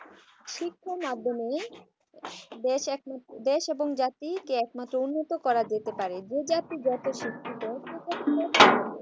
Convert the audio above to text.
শিক্ষার মাধ্যমে দেশ এবং জাতি কে একমাত্র উন্নত করা যেতে পারে যে জাতি যত শিক্ষিত